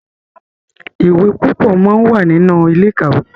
ìwé púpọ món wá nínú Ilé-ìkàwé.